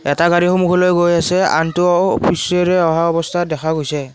এটা গাড়ী সন্মুখলৈ গৈ আছে আনটো পিছেৰে অহা অৱস্থাত দেখা গৈছে।